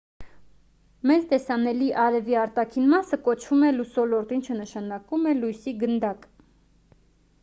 մեզ տեսանելի արևի արտաքին մասը կոչվում է լուսոլորտ ինչը նշանակում է լույսի գնդակ